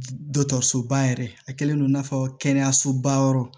Dɔkɔtɔrɔsoba yɛrɛ a kɛlen don i n'a fɔ kɛnɛyasoba yɔrɔ